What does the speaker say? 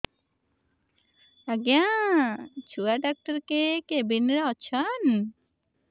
ଆଜ୍ଞା ଛୁଆ ଡାକ୍ତର କେ କେବିନ୍ ରେ ଅଛନ୍